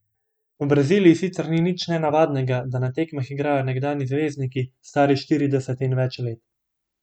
V Braziliji sicer ni nič nenavadnega, da na tekmah igrajo nekdanji zvezdniki, stari štirideset in več let.